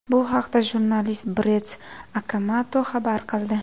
Bu haqda jurnalist Brett Okamoto xabar qildi .